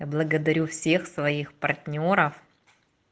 благодарю всех своих партнёров